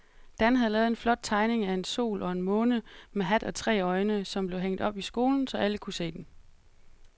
Dan havde lavet en flot tegning af en sol og en måne med hat og tre øjne, som blev hængt op i skolen, så alle kunne se den.